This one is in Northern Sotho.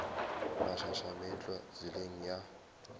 mašaša a meetlwa tseleng ya